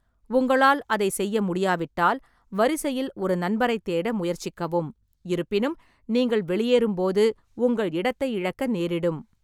உங்களால் அதைச் செய்ய முடியாவிட்டால், வரிசையில் ஒரு நண்பரைத் தேட முயற்சிக்கவும், இருப்பினும் நீங்கள் வெளியேறும்போது உங்கள் இடத்தை இழக்க நேரிடும்.